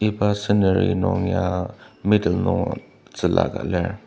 iba scenery nung ya middle nung tzüla ka lir.